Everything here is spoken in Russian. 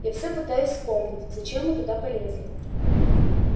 я все пытаюсь вспомнить зачем мы туда полезли